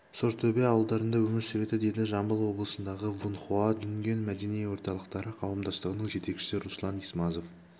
сортөбе ауылдарында өмір сүреді деді жамбыл облысындағы вынхуа дүнген мәдени орталықтары қауымдастығының жетекшісі руслан исмазов